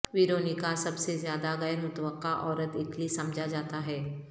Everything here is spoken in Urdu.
ویرونیکا سب سے زیادہ غیر متوقع عورت اٹلی سمجھا جاتا ہے